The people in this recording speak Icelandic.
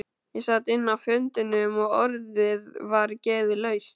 Ég sat inni á fundinum og orðið var gefið laust.